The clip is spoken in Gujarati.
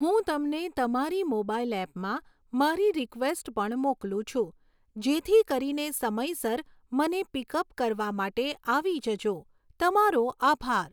હું તમને તમારી મોબાઈલ ઍપમાં મારી રિકવેસ્ટ પણ મોકલું છું જેથી કરીને સમયસર મને પિકઅપ કરવા માટે આવી જજો. તમારો આભાર.